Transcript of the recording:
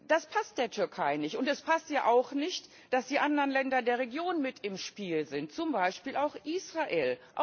Das passt der Türkei nicht, und es passt ihr auch nicht, dass die anderen Länder der Region mit im Spiel sind zum Beispiel Israel.